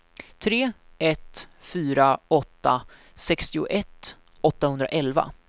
tre ett fyra åtta sextioett åttahundraelva